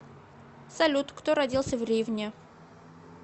салют кто родился в ривне